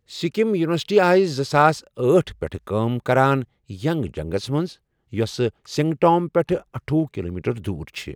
Sikkim university آیہِ زٕساس أٹھ پٮ۪ٹھ کٲم کران ینگ جنگس منٛز، یۅسہٕ سِنگٹام پٮ۪ٹھ اَٹھۄہ کلومیٹر دوٗر چھِ ۔